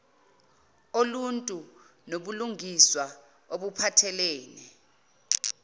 oluntu nobulungiswa obuphathelene